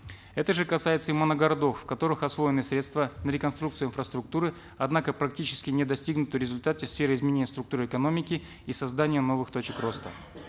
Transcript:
это же касается и моногородов в которых освоены средства реконструкции инфраструктуры однако практически не достигнуты результаты в сфере изменения структуры экономики и создания новых точек роста